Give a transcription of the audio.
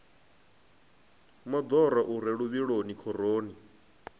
moḓoro u re luvhiloni khoroni